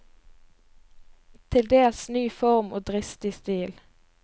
Til dels ny form og dristig stil.